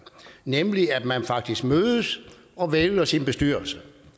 nemlig ved at man faktisk mødes og vælger sin bestyrelse